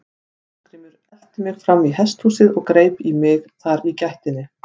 Ásgrímur elti mig fram í hesthúsið og greip í mig þar í gættinni.